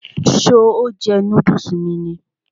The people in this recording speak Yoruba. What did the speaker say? Ṣé o jẹ núdùsì mi ni?